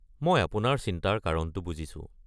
মই আপোনাৰ চিন্তাৰ কাৰণটো বুজিছো।